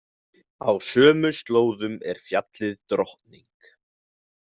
Á sömu slóðum er fjallið Drottning.